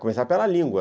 Começar pela língua.